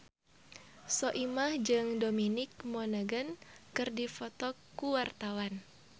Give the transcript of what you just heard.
Soimah jeung Dominic Monaghan keur dipoto ku wartawan